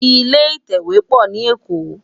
Ilé itèwé po ni Ékó